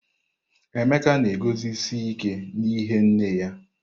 Emeka na-eguzosi ike n'ihe nne ya.